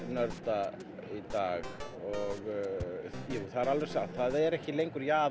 nörda í dag það er satt það er ekki lengur jaðar